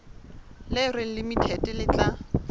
le reng limited le tla